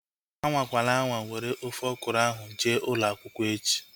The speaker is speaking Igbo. Anwakwana anwa were ofe ọkụrụ ahu jee ụlọakwụkwọ echi!